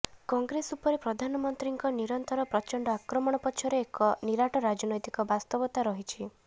କଂଗ୍ରେସ ଉପରେ ପ୍ରଧାନମନ୍ତ୍ରୀଙ୍କ ନିରନ୍ତର ପ୍ରଚଣ୍ଡ ଆକ୍ରମଣ ପଛରେ ଏକ ନିରାଟ ରାଜନୈତିକ ବାସ୍ତବତା ରହିଛି